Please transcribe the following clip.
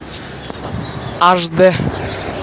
аш дэ